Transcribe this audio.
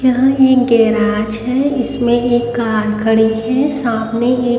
यहां एक गैराज है इसमें एक कार खड़ी है सामने एक --